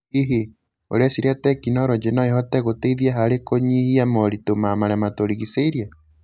Hihi, ũreciria tekinoronjĩ no ĩhote gũteithia harĩ kũnyihia moritũ ma marĩa matũrigicĩirie?